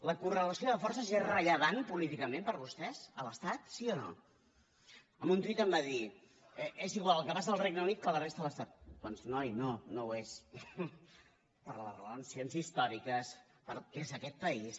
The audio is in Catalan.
la correlació de forces és rellevant políticament per a vostès a l’estat sí o no en un tuit em va dir és igual el que passa al regne unit que a la resta de l’estat doncs noi no no ho és per les relacions històriques pel que és aquest país